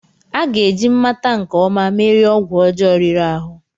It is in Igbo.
A ga-eji mmata nke ọma merie ọgwụ ọjọọ riri ahụ.